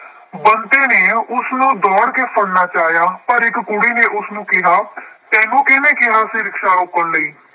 ਬੰਤੇ ਨੇ ਉਸਨੂੰ ਦੌੜ ਕੇ ਫੜਨਾ ਚਾਹਿਆ। ਪਰ ਇੱਕ ਕੁੜੀ ਨੇ ਉਸਨੂੰ ਕਿਹਾ ਤੈਨੂੰ ਕਿਹਨੇ ਕਿਹਾ ਸੀ ਰਿਕਸ਼ਾ ਰੋਕਣ ਲਈ।